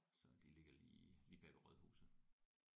Så de ligger lige lige bagved rådhuset